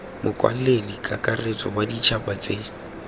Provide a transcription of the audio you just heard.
mokwaledi kakaretso wa ditšhaba tse